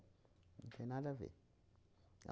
Não tem nada a ver.